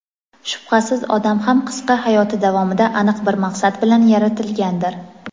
shubhasiz odam ham qisqa hayoti davomida aniq bir maqsad bilan yaratilgandir.